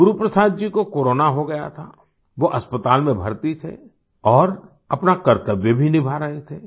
गुरुप्रसाद जी को कोरोना हो गया था वो अस्पताल में भर्ती थे और अपना कर्त्तव्य भी निभा रहे थे